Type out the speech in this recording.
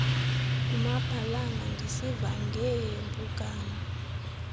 ngumabhalana ndisiva ngeeempukane